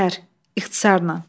Zəhər, ixtisarən.